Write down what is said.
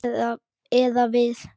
Eða við.